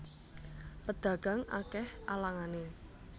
Pedagang akeh alangane